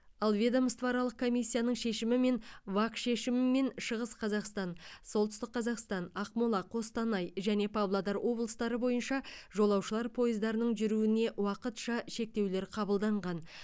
ал ведомствоаралық комиссияның шешімімен вак шешімімен шығыс қазақстан солтүстік қазақстан ақмола қостанай және павлодар облыстары бойынша жолаушылар пойыздарының жүруіне уақытша шектеулер қабылданған